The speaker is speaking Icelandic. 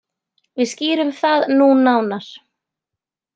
Við skýrum það nú nánar.